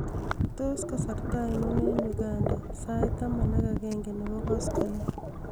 tot kasarta ainon en uganda sait taman ak agenge nebo koskolen